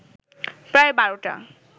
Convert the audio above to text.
প্রায় বারোটা